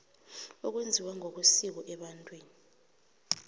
okwenziwa ngokwesiko ebantwini